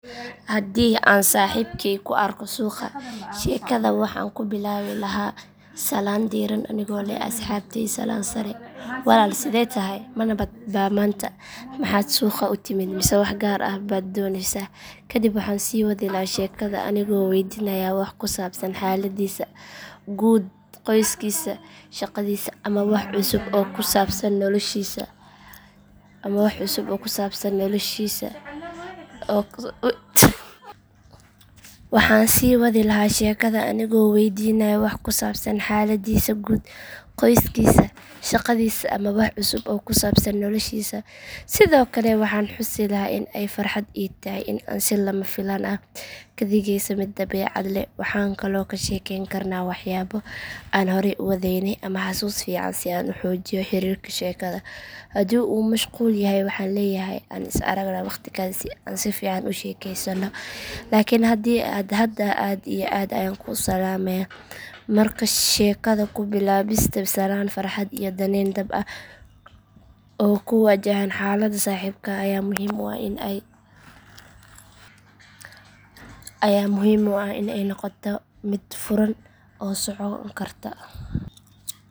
Haddii aan saaxiibkay ku arko suuqa sheekada waxaan ku bilaabi lahaa salaan diirran anigoo leh asxaabtaay salaan sare walaal sidee tahay ma nabad baa maanta maxaad suuqa u timid mise wax gaar ah baad dooneysay kadib waxaan sii wadi lahaa sheekada anigoo weydiinaya wax ku saabsan xaaladdiisa guud qoyskiisa shaqadiisa ama wax cusub oo ku saabsan noloshiisa sidoo kale waxaan xusi lahaa in ay farxad ii tahay in aan si lama filaan ah ugu kulanno suuqa taasoo sheekada ka dhigeysa mid dabeecad leh waxaan kaloo ka sheekeyn karnaa waxyaabo aan horey u wadaagnay ama xasuus fiican si aan u xoojiyo xiriirka sheekada haddii uu mashquul yahay waxaan leeyahay aan is aragno waqti kale si aan si fiican u sheekeysano laakiin hadda aad iyo aad ayaan kuu salaamayaa markaa sheekada ku bilaabista salaan farxad iyo daneyn dhab ah oo ku wajahan xaaladda saaxiibka ayaa muhiim u ah in ay noqonto mid furan oo socon karta